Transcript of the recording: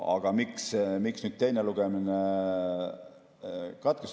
Aga miks teine lugemine katkestatakse?